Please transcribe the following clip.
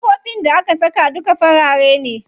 Ƙofofin da aka saka duka farare ne.